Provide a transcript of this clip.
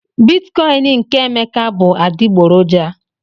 Bitikoin nke Emeka bụ adịgboroja